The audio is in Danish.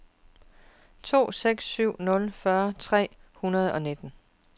to seks syv nul fyrre tre hundrede og nitten